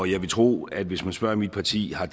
jeg vil tro at hvis man spørger mit parti har